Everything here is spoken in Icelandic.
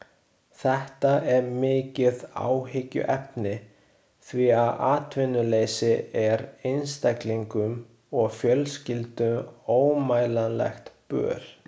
Þetta er mikið áhyggjuefni því að atvinnuleysi er einstaklingum og fjölskyldum ómælanlegt böl.